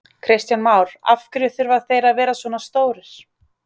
Kristján Már: Af hverju þurfa þeir að vera svona stórir?